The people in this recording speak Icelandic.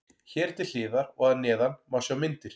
Hér til hliðar og að neðan má sjá myndir.